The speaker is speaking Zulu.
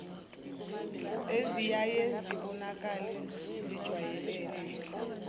eziyaye zibonakale zijwayelene